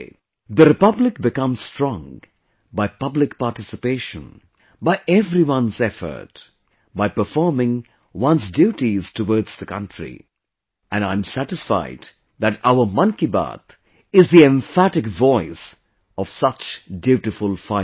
The Republic becomes strong 'by public participation', 'by everyone's effort', 'by performing one's duties towards the country', and I am satisfied that, our 'Mann Ki Baat', is the emphatic voice of such dutiful fighters